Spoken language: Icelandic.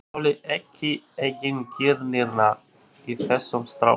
Ég þoli ekki eigingirnina í þessum strákum.